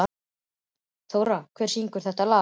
Þórar, hver syngur þetta lag?